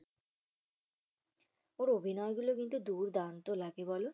ওর অভিনয় গুলো কিন্তু দুরদান্ত লাগে বলো?